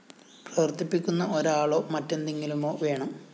പ്രവര്‍ത്തിപ്പിക്കുന്ന ഒരാളോ മറ്റെന്തെങ്കിലുമോ വേണം